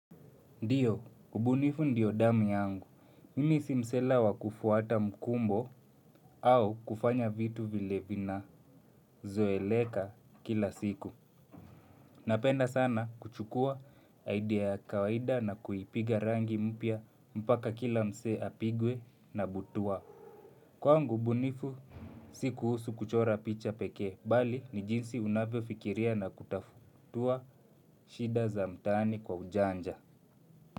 Ndiyo, ubunifu ndiyo damu yangu. Mimi si msela wa kufuata mkumbo au kufanya vitu vile vinazoeleka kila siku. Napenda sana kuchukua idea ya kawaida na kuipiga rangi mpya mpaka kila msee apigwe na butwaa. Kwangu ubunifu, si kuhusu kuchora picha pekee, bali ni jinsi unavyofikiria na kutatua shida za mtaani kwa ujanja.